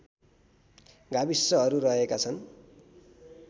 गाविसहरू रहेका छन्